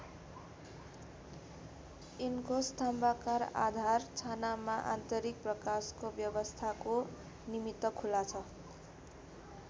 यिनको स्तम्भाकार आधार छानामा आन्तरिक प्रकाशको व्यवस्थाको निमित्त खुला छ।